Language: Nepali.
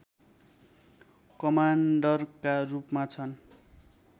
कमाण्डरका रूपमा छन्